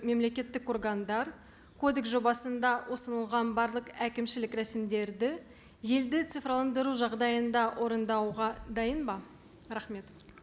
мемлекеттік органдар кодекс жобасында ұсынылған барлық әкімшілік рәсімдерді елді цифрландыру жағдайында орындауға дайын ба рахмет